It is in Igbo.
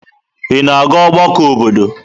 Ị na-aga ọgbakọ obodo?